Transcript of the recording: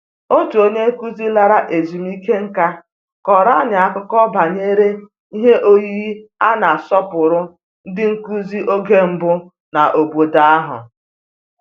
Otu onye nkụzi lara ezumike nká kọrọ anyị akụkọ banyere ihe oyiyi a na-asọpụrụ ndị nkụzi oge mbụ n'obodo ahụ